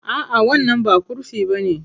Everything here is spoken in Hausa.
A'a, wannan ba kurfi bane.